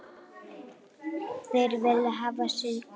Þeir vilja hafa sinn gaur.